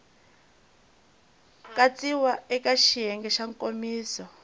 katsiwa eka xiyenge xa nkomiso